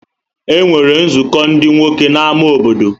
E nwere nzukọ ndị nwoke na ámá obodo.